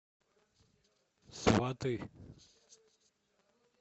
сваты